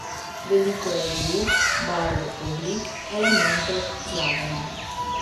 Veliko je vijug, barv, oblik, elementov, zlaganja.